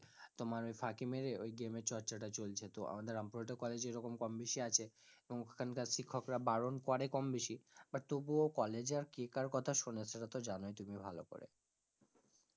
তোমার ওই ফাঁকি মেরে ওই game এর চর্চা টা চলছে তো আমাদের রামপুরহাটের কলেজে এরম কম বেশি আছে এবং ওখান কার শিক্ষক রা বারণ করে কম বেশি, but তবুও college এ আর কে কার কথা শোনে সেটা তো জানোই তুমি ভালো করে,